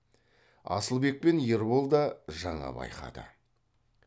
асылбек пен ербол да жаңа байқады